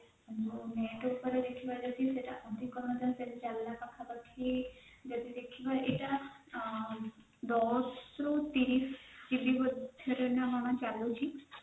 net ଉପରେ ଦେଖିବା ଯଦି ଅଧିକ ମଧ୍ୟ ସେଇଟା ଚାଲିଲା ପାଖାପାଖି ଯଦି ଦେଖିବା ଦଶରୁ ତିରିଶ GB ମଧ୍ୟରେ ନ କଣ ଚାଲୁଛି